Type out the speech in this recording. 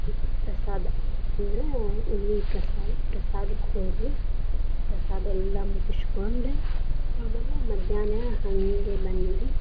ಪ್ರಸಾದಾ, ಅಂದ್ರ ಉಳವಿ ಪ್ರಸಾದ ಪ್ರಸಾದಕ್ಕ ಹೋದ್ವಿ, ಪ್ರಸಾದ್ ಎಲ್ಲಾ ಮುಗ್ಸ್ಕೊಂಡ್ ಆಮೇಲೆ ಮದ್ಯಾನ್ಹ ಹಂಗೆ ಬಂದ್ವಿ ರಿ.